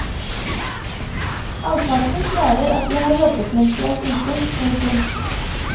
Halvparten svarer at de har jobbet mens de er syke. punktum